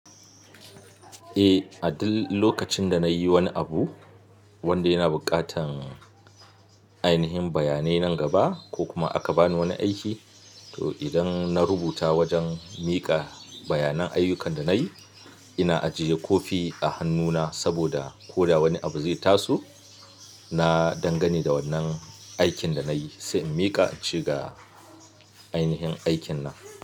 Eh, a duk lokacin da nayi wani abu wanda yana buƙatar ainihin bayanai nan gaba ko kuma aka bani wani aiki, to idan na rubuta wajen miƙa bayanan ayyukan da nayi, ina ajiye kofi a hannuna saboda ko da wani abu zai taso, na dangani da wannan aikin da nayi sai in miƙa, in ce ga ainihin aikin nan.